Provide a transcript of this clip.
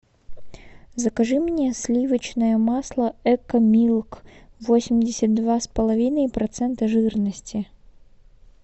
закажи мне сливочное масло экомилк восемьдесят два с половиной процента жирности